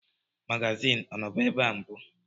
Magazin ọnọbu ebe a mbụ?